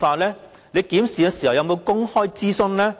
其間有否進行公開諮詢？